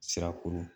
Sirakuru